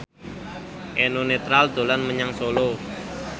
Eno Netral dolan menyang Solo